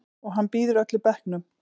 Og hann býður öllum bekknum.